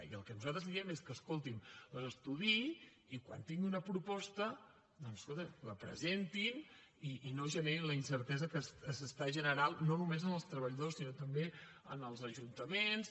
i el que nosaltres diem és que escolti’m les estudiï i quan tingui una proposta doncs escolti la presenti i no generi la incertesa que s’està generant no només en els treballadors sinó també en els ajuntaments